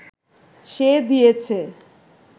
সে দিয়েছে